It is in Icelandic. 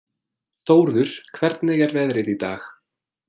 Þórður, hvernig er veðrið í dag?